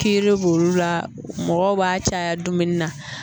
b'olu la mɔgɔw b'a caya dumuni na